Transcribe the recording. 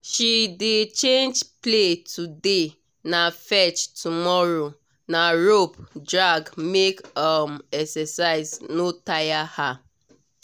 she dey change play today na fetch tomorrow na rope drag make um exercise no taya her